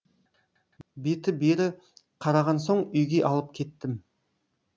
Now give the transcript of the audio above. беті бері қараған соң үйге алып кеттім